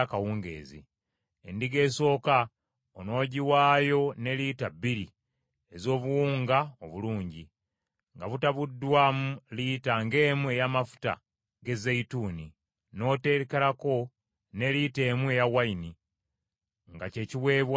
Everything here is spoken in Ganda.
Endiga esooka onoogiwaayo ne lita bbiri ez’obuwunga obulungi, nga butabuddwamu lita ng’emu ey’amafuta ge zeyituuni, n’oteekerako ne lita emu ey’envinnyo nga ky’ekiweebwayo ekyokunywa.